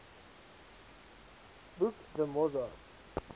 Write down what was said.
boek the mozart